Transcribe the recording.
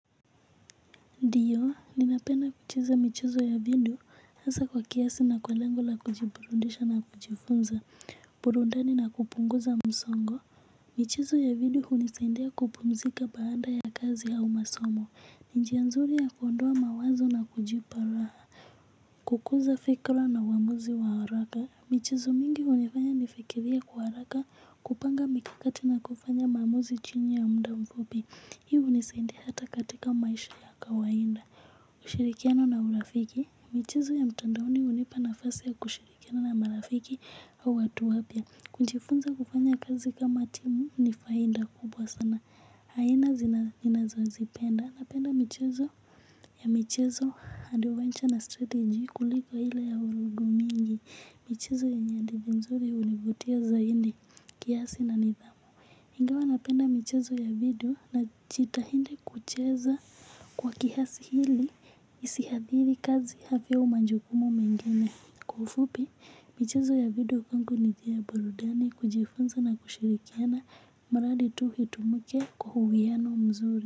Ndiyo, ninapenda kucheza michezo ya video, hasa kwa kiasi na kwa lengo la kujiburudisha na kujifunza, burudani na kupunguza msongo. Michezo ya video hunisaidia kupumzika baada ya kazi au masomo. Ni njia nzuri ya kuondoa mawazo na kujipa raha. Kukuza fikra na uamuzi wa haraka. Michezo mingi hunifanya nifikirie kwa haraka kupanga mikakati na kufanya maamuzi chini ya muda mfupi. Hii hunisaidia hata katika maisha ya kawaida. Ushirikiano na urafiki, michezo ya mtandaoni hunipa nafasi ya kushirikiana na marafiki au watu wapya. Kujifunza kufanya kazi kama timu ni faida kubwa sana. Haina ninazozipenda, napenda michezo ya michezo adventure na strategy kuliko ile ya vurugu mingi. Michezo yenye hadithi nzuri hunivutia zaidi kiasi na nidhamu ingawa napenda michezo ya video najitahidi kucheza kwa kiasi ili hisiathiri kazi afya au majukumu mengine kwa ufupi michezo ya video kwangu ni njia ya burudani kujifunza na kushirikiana mradi tu itumuke kwa uhiano mzuri.